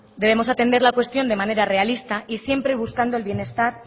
debemos atender la cuestión de manera realista y siempre buscando el bienestar